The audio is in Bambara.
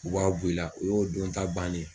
U b'a bu i la u y'o don ta banen ye.